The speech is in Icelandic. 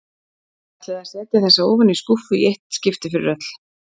Hún ætlaði að setja þessa ofan í skúffu í eitt skipti fyrir öll.